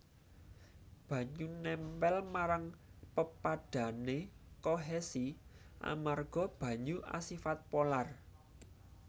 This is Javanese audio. Banyu nèmpèl marang pepadhané kohesi amarga banyu asifat polar